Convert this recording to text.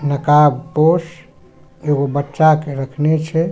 नकाबपोश एगो बच्चा के रखने छै।